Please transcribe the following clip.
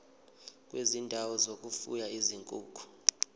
kwezindawo zokufuya izinkukhu